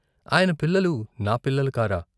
ఆయన పిల్లలు నా పిల్లలు కారా?